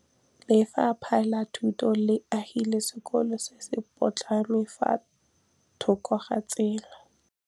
Lefapha la Thuto le agile sekôlô se se pôtlana fa thoko ga tsela.